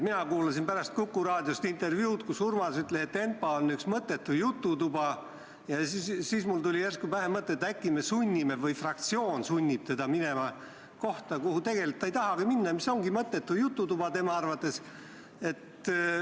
Mina kuulasin pärast Kuku Raadiost intervjuud, kus Urmas ütles, et ENPA on üks mõttetu jututuba, ja siis tuli mulle järsku pähe mõte, et äkki me sunnime või fraktsioon sunnib teda minema kohta, kuhu ta tegelikult ei tahagi minna ja mis ongi tema arvates mõttetu jututuba.